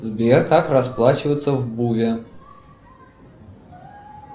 сбер как расплачиваться в буве